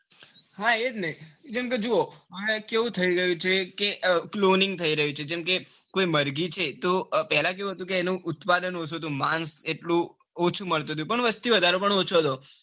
હા એજ ને જેમ કે જુવો આ એવું થઇ રહ્યું છે. કે cloning થઇ રહ્યું છે. જેમ કે કોઈ મરઘી છે. તો પેલા કેઉં હતું કે તેનું ઉત્પાદન ઓછું હતું. માંગ એટલું ઓછું મળતું હતું. પણ વસ્તી વધારો પણ ઓછો હતો.